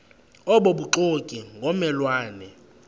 obubuxoki ngomme lwane